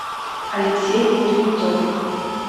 алексей кузнецов